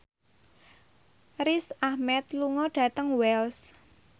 Riz Ahmed lunga dhateng Wells